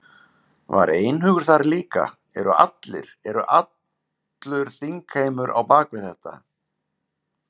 Var einhugur þar líka, eru allir, eru allur þingheimur á á bak við þetta?